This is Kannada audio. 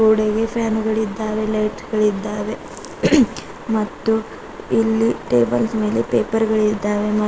ಫ್ಯಾನ್ ಗಳಿದ್ದಾವೇ ಲೈಟ್ ಗಳಿದ್ದಾವೆ ಮತ್ತು ಇಲ್ಲಿ ಟೇಬಲ್ಸ್ ಮೇಲೆ ಪೇಪರ್ ಗಳಿದ್ದಾವೆ ಮತ್ತ್--